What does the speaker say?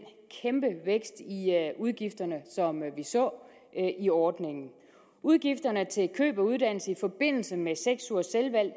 udgifterne som vi så i ordningen udgifterne til køb af uddannelse i forbindelse med seks ugers selvvalgt